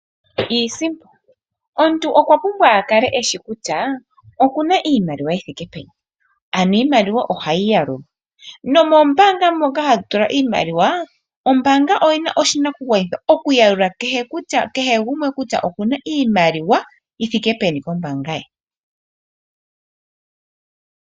Iisimpo Omuntu okwa pumbwa okukala eshi kutya okuna iimaliwa yithike peni. Ano iimaliwa ohayi yalulwa, nomombaanga moka hatu tula iimaliwa, ombaanga oyina oshinalugwanithwa okuyalula kutya kehe gumwe okuna iimaliwa yithike peni kombaanga ye.